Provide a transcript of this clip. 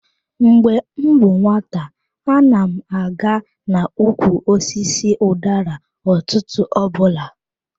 Mgbe m bụ nwata, ana m aga n'ukwu osisi udara ụtụtụ ọbụla.